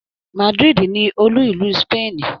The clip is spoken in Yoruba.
Madrid ni olú ìlú Spain